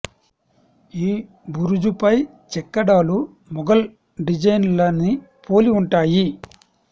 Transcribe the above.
ఈ బురుజుపై చెక్కడాలు మొఘల్ డిజైన్ ల ని పోలి ఉంటాయి